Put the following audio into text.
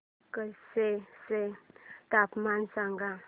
कच्छ चे तापमान सांगा